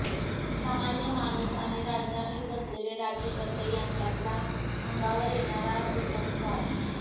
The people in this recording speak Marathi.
सामान्य माणूस आणि राजधानीत बसलेले राज्यकर्ते यांच्यातला अंगावर येणारा विसंवाद